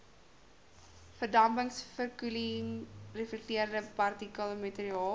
verdampingsverkoeling reflekterende partikelmateriaal